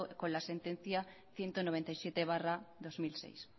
con la sentencia ciento noventa y siete barra dos mil seis